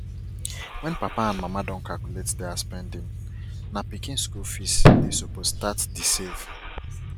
wen papa and mama don calculate their spending na pikin skul fees dey suppose start the save